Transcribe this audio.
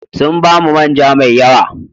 Sun ba mu man ja mai yawa.